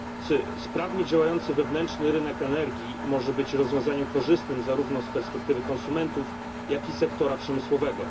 Panie Przewodniczący! Sprawnie działający wewnętrzny rynek energii może być rozwiązaniem korzystnym zarówno z perspektywy konsumentów, jak i sektora przemysłowego.